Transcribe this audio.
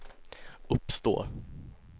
uppstår